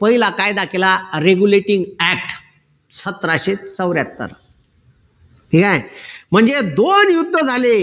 पहिला कायदा केला regulative act सतराशे चौऱ्याहत्तर ठीक आहे म्हणजे दोन युद्ध झाले